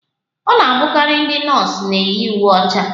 Ọ na-abụkarị ndị nọọsụ na-eyi uwe ọcha